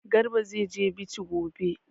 Garba zai je Bichi gobe.